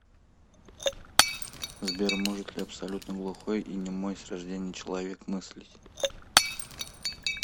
сбер может ли абсолютно глухой и немой с рождения человек мыслить